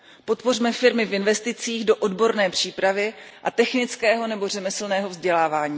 Podpořme firmy v investicích do odborné přípravy a technického nebo řemeslného vzdělávání.